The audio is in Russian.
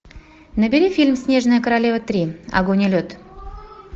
набери фильм снежная королева три огонь и лед